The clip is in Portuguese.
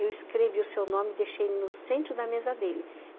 Eu escrevi o seu nome e deixei no centro da mesa dele.